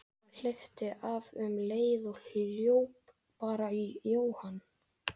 Hann hleypti af um leið og hlaupið bar í Jóhann.